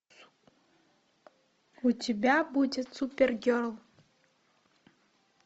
у тебя будет супергерл